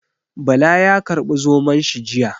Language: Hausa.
Bala ya karbi Zomon shi jiya.